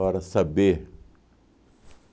Hora saber.